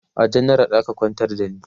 a janaral aka kwantar da ni